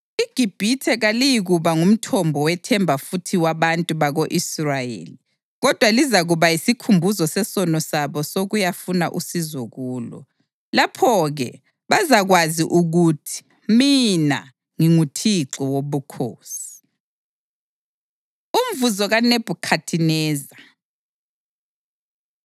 IGibhithe kaliyikuba ngumthombo wethemba futhi wabantu bako-Israyeli kodwa lizakuba yisikhumbuzo sesono sabo sokuyafuna usizo kulo. Lapho-ke bazakwazi ukuthi mina nginguThixo Wobukhosi.’ ” Umvuzo KaNebhukhadineza